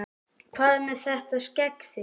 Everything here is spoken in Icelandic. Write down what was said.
Hvað með þetta skegg þitt.